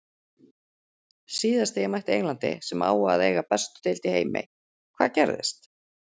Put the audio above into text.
Síðast þegar ég mætti Englandi, sem á að eiga bestu deild í heimi- hvað gerðist?